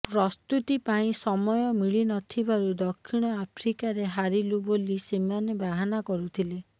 ପ୍ରସ୍ତୁତି ପାଇଁ ସମୟ ମିଳି ନଥିବାରୁ ଦକ୍ଷିଣ ଆଫ୍ରିକାରେ ହାରିଲୁ ବୋଲି ସେମାନେ ବାହାନା କରୁଥିଲେ